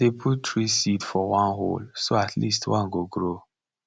i dey put three seed for one hole so at least one go grow